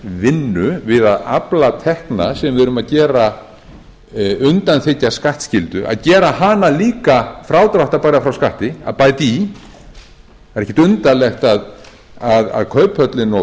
vinnu við að afla tekna sem við erum að undanþiggja skattskyldu að gera hana líka frádráttarbæra frá skatti að bæta í það er ekkert undarlegt að kauphöllin og